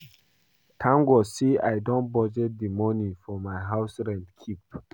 Thank God say I don budget the money for my house rent keep